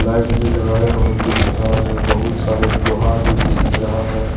Light भी लगाया हुआ दिख रहा है बहुत सारे लोहा भी दिख रहा है।